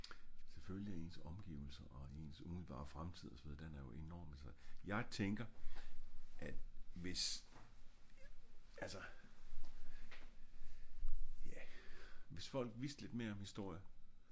selvfølgelig er ens omgivelser og ens umiddelbare fremtid og så videre den er enormt interessant jeg tænker ja hvis folk vidste lidt mere om historie